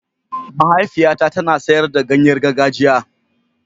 Mahaifiyata tana sayar da ganye gargajiya.